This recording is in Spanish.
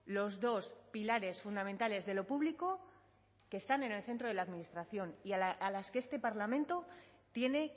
los dos pilares fundamentales de lo público que están en el centro de la administración y a las que este parlamento tiene